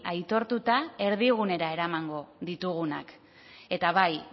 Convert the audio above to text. aitortuta erdigunera eramango ditugunak eta bai